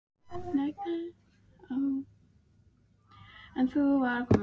EN NÚ VAR KOMIÐ AÐ ÞVÍ.